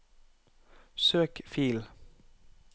søk fil